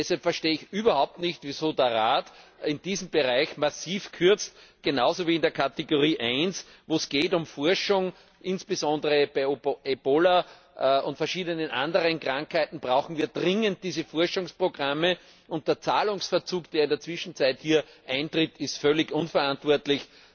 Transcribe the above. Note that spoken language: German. Deshalb verstehe ich überhaupt nicht, wieso der Rat in diesem Bereich massiv kürzt, genauso wie in der Kategorie 1, wo es um Forschung insbesondere bei Ebola und verschiedenen anderen Krankheiten geht. Hier brauchen wir dringend diese Forschungsprogramme, und der Zahlungsverzug, der in der Zwischenzeit hier eintritt, ist völlig unverantwortlich.